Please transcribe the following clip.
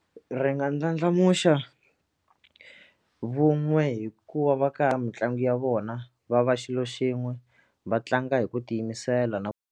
Ri nga ndlandlamuxa vun'we hikuva va ka mitlangu ya vona va va xilo xin'we va tlanga hi ku tiyimisela na .